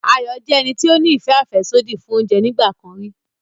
Ayọ̀ jẹ́ ẹni tó ní ìfẹ́ àfẹ́sódì fún oúnjẹ nígbà kan rí